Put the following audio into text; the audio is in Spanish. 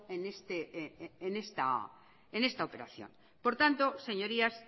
en esta operación por tanto señorías